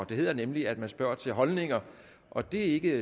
det hedder nemlig at man spørger til holdninger og det er ikke